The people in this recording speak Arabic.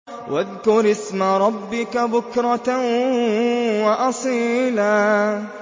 وَاذْكُرِ اسْمَ رَبِّكَ بُكْرَةً وَأَصِيلًا